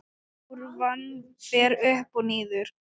Kúrfan fer upp og niður.